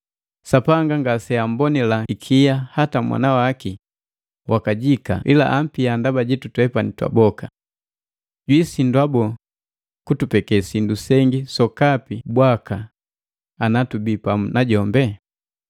Sapanga ngaseambonila ikia hata Mwana waki wakajika ila ampia ndaba jitu twepani twaboka. Jwiisindwa boo, kutupeke sindu sengi sokapi bwaka ana tubi pamu najombe?